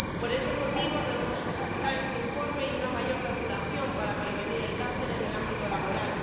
Por ese motivo debemos felicitarnos por este informe y una mayor regulación para prevenir el cáncer en el ámbito laboral.